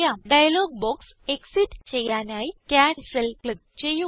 dialogue box exit ചെയ്യാനായി cancel click ചെയ്യുക